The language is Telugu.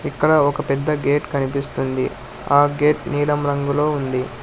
ఇక్కడ ఒక పెద్ద గేట్ కనిపిస్తుంది ఆ గేట్ నీలం రంగులో ఉంది.